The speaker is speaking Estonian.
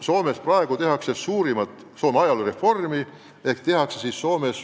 Soomes tehakse praegu riigi ajaloo suurimat reformi.